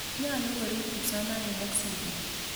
Nyalu korip kipsomaninik sigik.